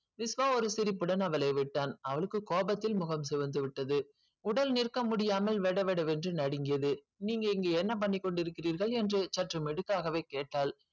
விஷ்வா ஒரு சிரிப்புடன் அவளை விட்டான் அவளுக்கு கோபத்தில் முகம் சிவந்துவிட்டது உடல் நிற்க முடியாமல் வெட வெட என்று நடுங்கியது. நீங்க இங்க என்ன பண்ணி கொண்டியிருக்கிறீர்கள் என்று சற்று மெடுக்காகவே கேட்டாள்.